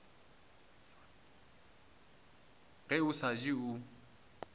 ge o sa je o